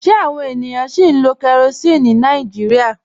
Ṣe awọn ènìyàn sì ń lo kérosínì ní Nàìjíríà?